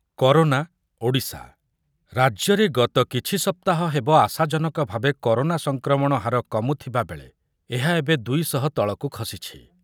Corona Odisha, ରାଜ୍ୟରେ ଗତ କିଛି ସପ୍ତାହ ହେବ ଆଶାଜନକଭାବେ କରୋନା ସଂକ୍ରମଣ ହାର କମୁଥିବାବେଳେ ଏହା ଏବେ ଦୁଇ ଶହ ତଳକୁ ଖସିଛି ।